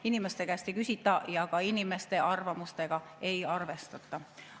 Inimeste käest ei küsita ja inimeste arvamusega ei arvestata.